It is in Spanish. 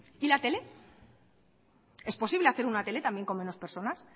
y la tele es posible hacer una tele también con menos personas